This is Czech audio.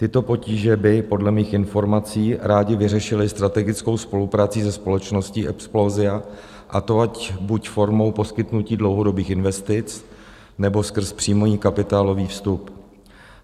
Tyto potíže by podle mých informací rádi vyřešili strategickou spoluprací se společností Explosia, a to ať buď formou poskytnutí dlouhodobých investic, nebo skrz příjmový kapitálový vstup.